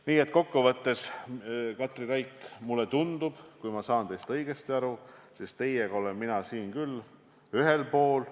Nii et kokkuvõttes, Katri Raik, mulle tundub, et kui ma teist õigesti aru sain, siis teiega olen ma selles asjas küll ühel poolel.